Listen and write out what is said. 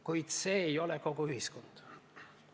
Kuid see ei ole kogu ühiskond.